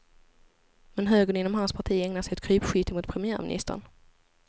Men högern inom hans parti ägnar sig åt krypskytte mot premiärministern.